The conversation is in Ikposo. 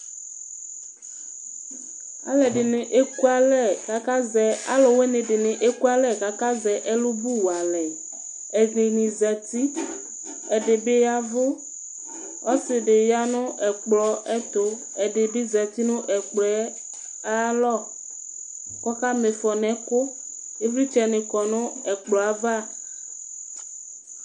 Alʋwinidini ekʋalɛ kʋ akazɛ ɛlʋbʋ wa alɛ, ɛdini zati, ɛdibi ya ɛvʋ, ɔsidi yanʋ ɛkplɔɛtʋ, ɛdibi zati nʋ ɛkplɔ yɛ ayʋ alɔ, kʋ ɔkama ifɔ nʋ ɛkʋ Ivlitsɛ ni kɔnʋ ɛkplɔ yɛ ava